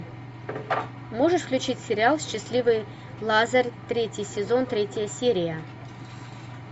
можешь включить сериал счастливый лазарь третий сезон третья серия